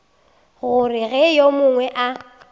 gore ge yo mongwe a